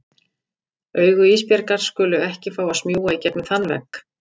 Augu Ísbjargar skulu ekki fá að smjúga í gegnum þann vegg.